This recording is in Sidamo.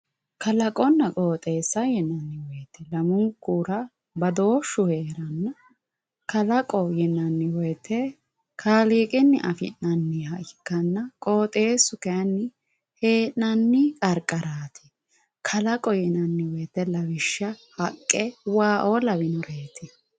kalaqonna qooxeessa yinanniwoyiite lamunkura badooshshu heeranna kalaqo yinanni woyiite kaaliiqinni afi'nanniha ikkanna qooxeessu kayiinni hee'nanni qarqaraati kalaqo yinanni woyiite lawishshaho haqqe waa"oo lawinoreeti